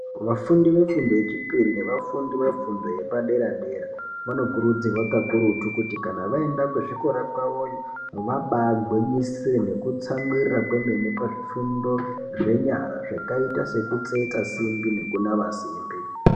Vafundi vefundo yechipiri nevafundo yepadera-dera vanokurudzirwa kakurutu kuti kana vaenda kuzvikora kwavoyo vabaagwinyisire nekutsamwirira kwemene pazvifundo zvenyara zvakaita sekutsetsa simbi nekunama simbi.